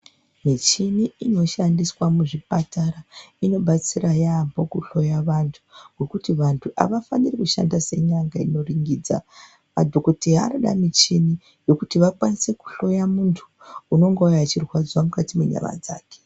Michini inoshandiswa muzvipatara inobatsira yaambho kuhloya vantu ngekuti vanthu avafaniri kushandisa nyanga inoringidza vanoda michini yekuti vakwanise kuhloya munthu unongouya achirwadziwa mukqti menyama dzake.